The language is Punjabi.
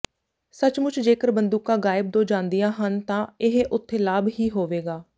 ਸੱਚਮੁਚ ਜੇਕਰ ਬੰਦੂਕਾਂ ਗਾਇਬ ਦੋ ਜਾਂਦੀਆਂ ਹਨ ਤਾਂ ਇਹ ਉਥੇ ਲਾਭ ਹੀ ਹੋਵੇਗਾ